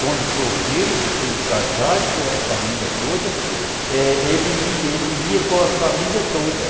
Quando solteiro e depois de casado com a família toda, ele ia ele ia com a família toda.